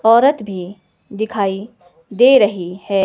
औरत भी दिखाई दे रही है।